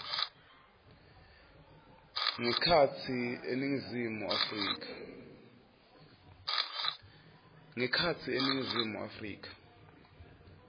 ngekhatsi eningizimu afrika